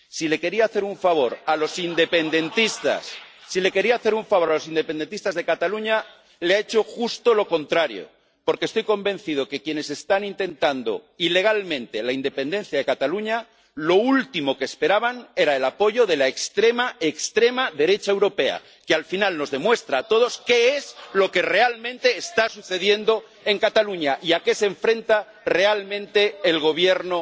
Si quería hacer un favor a los independentistas de Cataluña, les ha hecho justo lo contrario, porque estoy convencido de que quienes están intentando ilegalmente la independencia de Cataluña lo último que esperaban era el apoyo de la extrema, extrema, derecha europea, lo que, al final, nos demuestra a todos qué es lo que realmente está sucediendo en Cataluña y a qué se enfrenta realmente el Gobierno